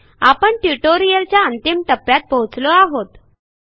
आपण ट्युटोरियलच्या अंतिम टप्प्यात पोहोचलो आहोत